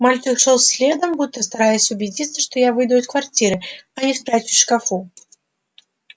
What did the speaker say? мальчик шёл следом будто стараясь убедиться что я выйду из квартиры а не спрячусь в шкафу